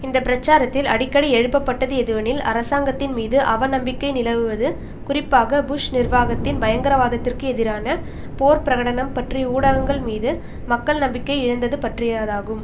இந்த பிரச்சாரத்தில் அடிக்கடி எழுப்பப்பட்டது எதுவெனில் அரசாங்கத்தின் மீது அவ நம்பிக்கை நிலவுவது குறிப்பாக புஷ் நிர்வாகத்தின் பயங்கரவாதத்திற்கு எதிரான போர் பிரகடனம் பற்றி ஊடகங்கள் மீது மக்கள் நம்பிக்கை இழந்தது பற்றியதாகும்